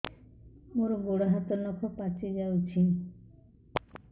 ମୋର ଗୋଡ଼ ହାତ ନଖ ପାଚି ଯାଉଛି